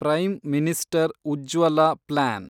prime minister Ujjwala plan